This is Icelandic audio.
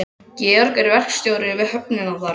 Georg er verkstjóri við höfnina þar.